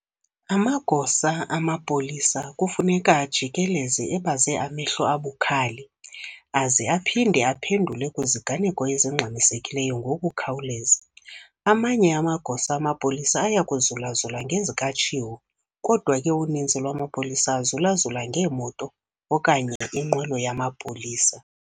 amagosa amapolisa kufuneka ajikeleze ebaze amehlo abukhali aze aphinde aphendule kwiziganeko ezingxamisekileyo ngokukhawuleza. Amanye amagosa amapolisa ayakuzulazula ngeezikatshiwo, kodwa ke uninzi lwamapolisa azulazula ngemoto okanye inqwelo yamapolisa.